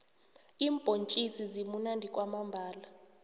iimbhontjisi zimunandi kwamambhala